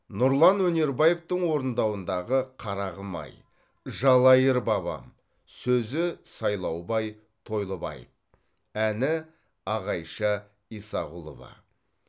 нұрлан өнербаевтың орындауындағы қарағым ай жалайыр бабам сөзі сайлаубай тойлыбаев әні ағайша исағұлова